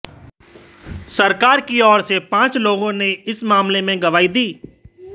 सरकार की ओर से पाच लोगों ने इस मामले में गवाही दी